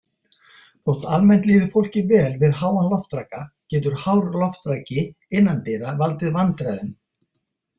Þótt almennt líði fólki vel við háan loftraka getur hár loftraki innandyra valdið vandræðum.